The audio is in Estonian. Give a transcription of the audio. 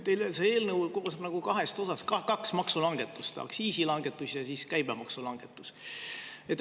Teile see eelnõu koosneb nagu kahest osast, kaks maksulangetust: aktsiisi langetus ja käibemaksu langetus.